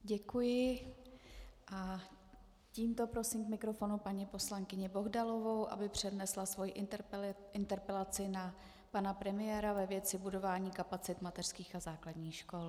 Děkuji a tímto prosím k mikrofonu paní poslankyni Bohdalovou, aby přednesla svoji interpelaci na pana premiéra ve věci budování kapacit mateřských a základních škol.